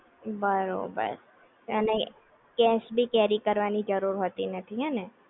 બરોબર અને કેશ બી કેરી કરવાની જરૂર હોતી નથી હેને?